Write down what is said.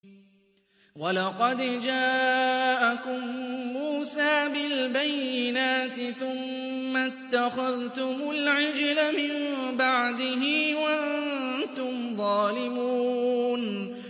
۞ وَلَقَدْ جَاءَكُم مُّوسَىٰ بِالْبَيِّنَاتِ ثُمَّ اتَّخَذْتُمُ الْعِجْلَ مِن بَعْدِهِ وَأَنتُمْ ظَالِمُونَ